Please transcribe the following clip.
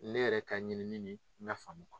Ne yɛrɛ ka ɲinini n ka faamu ma